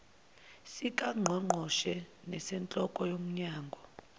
sikangqongqoshe nesenhloko yomnyango